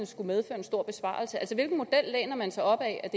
skulle medføre en stor besparelse altså hvilken model læner man sig opad er